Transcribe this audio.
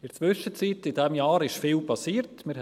In der Zwischenzeit, in diesem Jahr, ist viel geschehen.